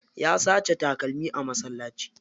Ya sace takalmi a masallaci.